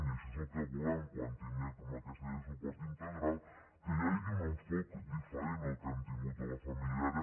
i això és el que volem quan tinguem aquesta llei de suport integral que hi hagi un enfocament diferent al que hem tingut a la família